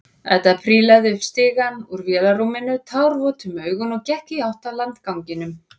Edda prílaði upp stigann úr vélarrúminu, tárvot um augun og gekk í átt að landganginum.